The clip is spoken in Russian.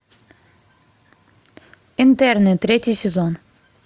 интерны третий сезон